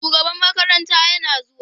Shugaban makarantar yana zuwa.